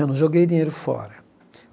Eu não joguei dinheiro fora.